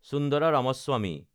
Sundara Ramaswamy